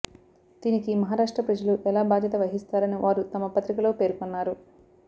దీనికి మహారాష్ట్ర ప్రజలు ఎలా భాద్యత వహిస్తారని వారు తమ పత్రికలో పేర్కోన్నారు